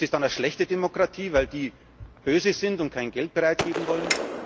Ist das dann eine schlechte Demokratie, weil die böse sind und kein Geld bereitstellen wollen?